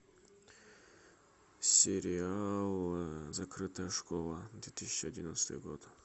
сериал закрытая школа две тысячи одиннадцатый год